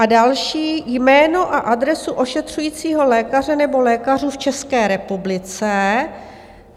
A další: jméno a adresu ošetřujícího lékaře nebo lékařů v České republice.